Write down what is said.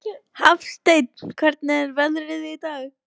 Hafsteinn, hvernig er veðrið í dag?